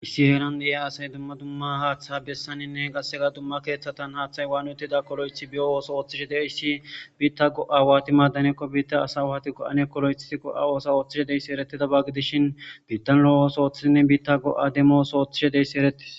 Issi heeran de7e asay dumma dumma haaththa bessaninne qassega dumma keeththatan haaththay waanutida kolo7ethi biyo ooso ooththishe deyssi biitta go7awaati maadanekko biitta asawaatikko aneekko lo7ethtikko a oosa ooththishe deyssi eretida ba gidishin biittan lo7o oos ooththidinne biitta go7a demoos ooththishe deyssi eretis.